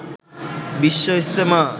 Bishwa Ijtema